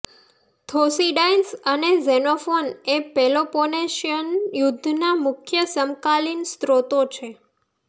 થોસીડાઇન્સ અને ઝેનોફોન એ પેલોપોનેશિયન યુદ્ધના મુખ્ય સમકાલીન સ્રોતો છે